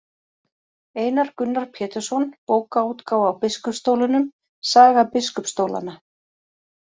Einar Gunnar Pétursson, Bókaútgáfa á biskupsstólunum, Saga biskupsstólanna.